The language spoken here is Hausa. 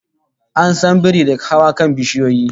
An san biri da hawa kan bishiyoyi